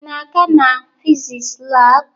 Ị na-aga na fiziks lab?